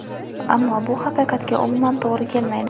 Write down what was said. ammo bu haqiqatga umuman to‘g‘ri kelmaydi.